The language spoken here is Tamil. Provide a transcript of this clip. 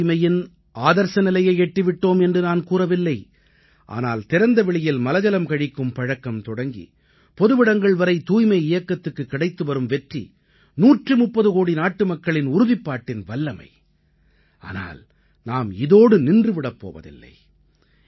நாம் தூய்மையின் ஆதர்ஸ நிலையை எட்டி விட்டோம் என்று நான் கூறவில்லை ஆனால் திறந்தவெளியில் மலஜலம் கழிக்கும் பழக்கம் தொடங்கி பொதுவிடங்கள் வரை தூய்மை இயக்கத்துக்குக் கிடைத்து வரும் வெற்றி 130 கோடி நாட்டுமக்களின் உறுதிப்பாட்டின் வல்லமை ஆனால் நாம் இதோடு நின்று போய்விடப் போவதில்லை